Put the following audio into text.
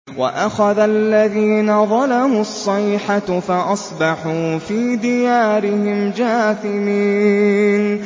وَأَخَذَ الَّذِينَ ظَلَمُوا الصَّيْحَةُ فَأَصْبَحُوا فِي دِيَارِهِمْ جَاثِمِينَ